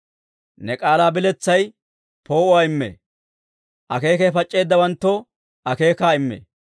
Ne k'aalaa biletsay poo'uwaa immee; akeekay pac'c'eeddawanttoo akeekaa immee.